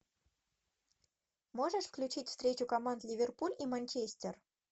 можешь включить встречу команды ливерпуль и манчестер